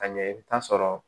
Ka ɲɛ i bi taa sɔrɔ